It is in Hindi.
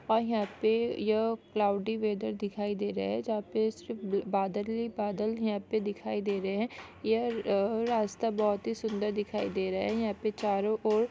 और यहाँ पे यह क्लॉउडी वेदर दिखाई दे रहे है जहां पे सिर्फ बादल ही बादल यहां पर दिखाई दे रहे हैं यह अ -अ रास्ता बहुत ही सुंदर दिखाई दे रहा है यहाँ पे चारो ओर --